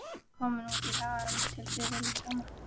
Ég var komin út í hagann til fiðrildanna.